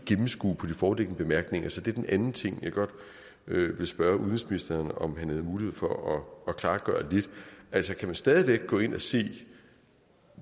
gennemskue af de foreliggende bemærkninger så det er den anden ting jeg godt vil spørge udenrigsministeren om han havde mulighed for at klargøre lidt altså kan man stadig væk gå ind og se